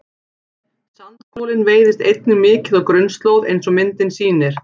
Sandkolinn veiðist einnig mikið á grunnslóð eins og myndin sýnir.